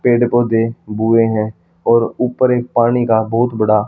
पेड़ पौधे बुए हैं और ऊपर एक पानी का बहुत बड़ा--